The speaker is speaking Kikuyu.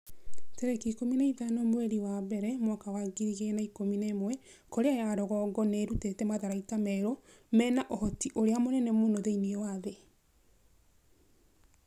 tarĩki ikũmi na ithano mweri wa mbere mwaka wa ngiri igĩrĩ na ikũmi na ĩmwe Korea ya rũgongo nĩ ĩrutĩte matharaita merũ mena ũhoti ũrĩa mũnene mũno thĩinĩ wa thĩ.'